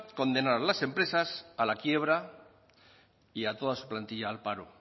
condenar a las empresas a la quiebra y a toda su plantilla al paro